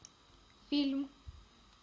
фильм